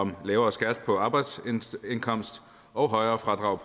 om lavere skat på arbejdsindkomst og højere fradrag